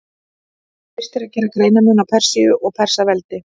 Fyrst er að gera greinarmun á Persíu og Persaveldi.